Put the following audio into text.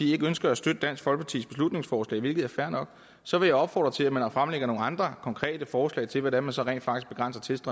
ikke ønsker at støtte dansk folkepartis beslutningsforslag hvilket er fair nok så vil jeg opfordre til at man fremlægger nogle andre konkrete forslag til hvordan vi så rent faktisk